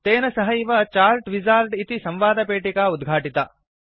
तेन सहैव chart wizard इति संवादपेटिका उद्घाटिता